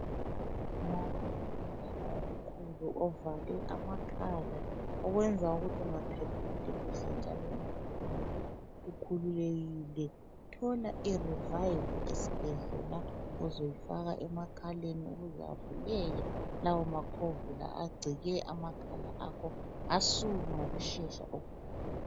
Uma ulomvimbano omkhulu ovale amakhala okwenza ukuthi ungaphefumuli kuhle njalo ungaphefumuli ukhululekile thola i rivive esibhedlela uzoyifaka emakhaleni ukuze avuleke lawa makhovula agcike amakhala akho asuke ngokushesha okukhulu.